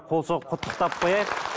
қол соғып құттықтап қояйық